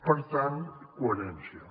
per tant coherència